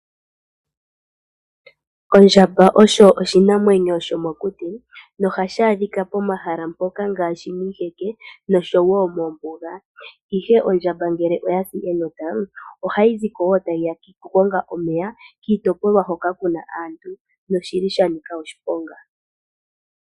Ondjamba oyo oshinamwenyo shomokuti. Ohashi adhika momahala unene gagamenwa . Momahala gagamenwa omuna iinwino moka hadhi nu ngele dhasi enota. Oyili yanika oshiponga.